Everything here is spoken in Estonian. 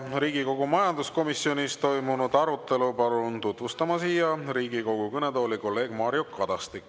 Riigikogu majanduskomisjonis toimunud arutelu palun siia Riigikogu kõnetooli tutvustama kolleeg Mario Kadastiku.